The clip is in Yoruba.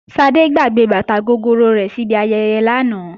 Ṣadé gbàgbé bàtà gogoro rẹ̀ síbi ayẹyẹ lánàá